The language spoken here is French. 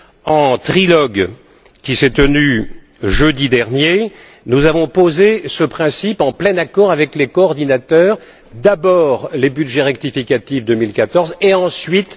Lors du trilogue qui s'est tenu jeudi dernier, nous avons posé ce principe en plein accord avec les coordinateurs d'abord les budgets rectificatifs 2014 et ensuite